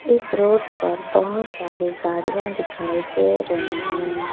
इस रोड पर बहुत सारी गाड़ियां दिखाई दे रहे हैं।